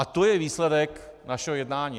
A to je výsledek našeho jednání.